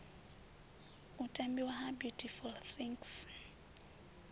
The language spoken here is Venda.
u tambiwa ha beautiful things